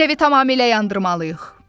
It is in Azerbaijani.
Biz evi tamamilə yandırmalıyıq.